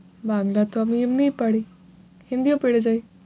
বাংলা তো আমি এমনি পারি hindi ও পেরে যাই।